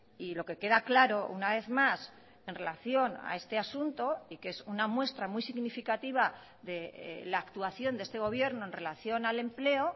y lo que queda claro una vez más en relación a este asunto y que es una muestra muy significativa de la actuación de este gobierno en relación al empleo